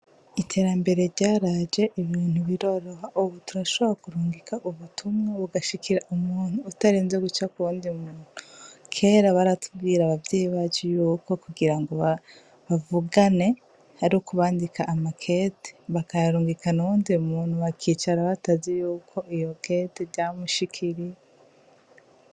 Iterambere ryaraje biroroha ubu turasobora kurungika ubutumwa bugashikira umuntu utarinse guca kuwundi muntu. Kera baratubwira abavyeyi bacu yuko kugirango avuganr ariko bandika amakete bakayarungikana uwundi muntu bakicara batazi yuko ryo kete ryamushikiriye.